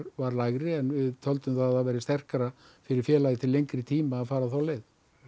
var lægri en við töldum að það væri sterkara fyrir félagið til lengri tíma að fara þá leið